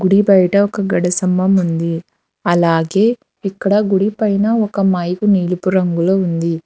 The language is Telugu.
గుడి బయట ఒక గడి స్తంభం ఉంది అలాగే ఇక్కడ గుడి పైన ఒక మైకు నీలిపురంగు లో ఉంది.